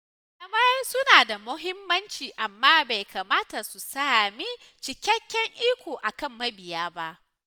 Malamai suna da muhimmanci amma bai kamata su sami cikakken iko a kan mabiya ba